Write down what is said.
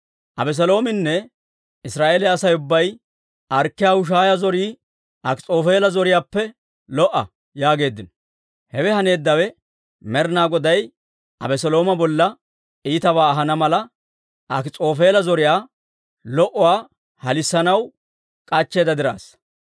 Abeseloominne Israa'eeliyaa Asay ubbay, «Arkkiyaa Hushaaya zorii Akis'oofeela zoriyaappe lo"a» yaageeddino. Hewe haneeddawe, Med'inaa Goday Abeselooma bolla iitabaa ahana mala, Akis'oofeela zoriyaa lo"uwaa halissanaw k'achcheedda diraassa.